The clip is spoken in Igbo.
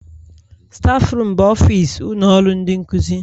Stafurum bụ ofis ụlọ ọrụ ndị nkuzi.